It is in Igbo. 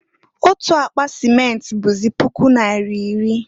Otu akpa simenti bụzị puku naira iri.